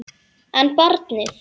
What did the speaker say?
En barnið?